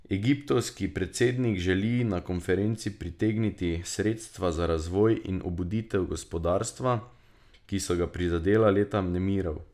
Egiptovski predsednik želi na konferenci pritegniti sredstva za razvoj in obuditev gospodarstva, ki so ga prizadela leta nemirov.